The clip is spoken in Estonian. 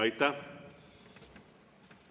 Aitäh!